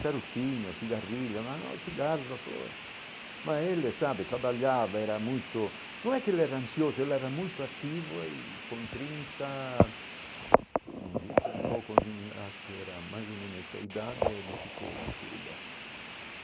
Charutinho, cigarrilho, mas não é cigarro, mas ele sabe, trabalhava, era muito, não é que ele era ansioso, ele era muito ativo e com trinta, e pouco, acho que era mais ou menos essa idade, ele se foi, mas tudo bem.